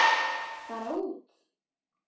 Bara út.